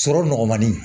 Sɔrɔ nɔgɔmanin